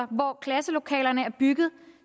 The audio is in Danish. hvor klasselokalerne er bygget